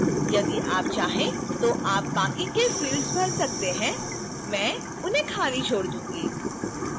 यदि आप चाहें तो आप बाकी के fields भर सकते हैं मैं उन्हें खाली छोड़ दूंगी